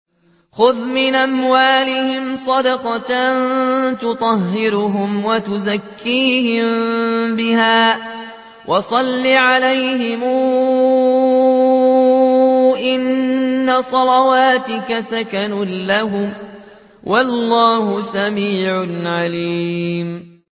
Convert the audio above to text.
خُذْ مِنْ أَمْوَالِهِمْ صَدَقَةً تُطَهِّرُهُمْ وَتُزَكِّيهِم بِهَا وَصَلِّ عَلَيْهِمْ ۖ إِنَّ صَلَاتَكَ سَكَنٌ لَّهُمْ ۗ وَاللَّهُ سَمِيعٌ عَلِيمٌ